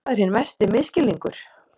Það er hinn mesti misskilningur.